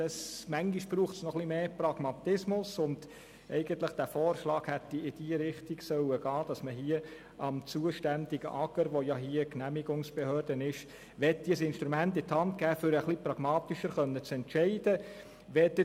Manchmal braucht es etwas mehr Pragmatismus, und mein Vorschlag hätte eigentlich in die Richtung gehen sollen, dass man hier dem zuständigen Amt für Gemeinden und Raumordnung (AGR) als Genehmigungsbehörde ein Instrument in die Hand gibt, damit es etwas pragmatischer entscheiden kann.